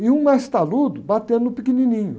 E um mais taludo batendo no pequenininho.